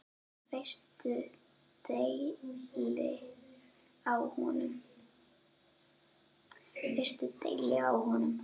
Veistu deili á honum?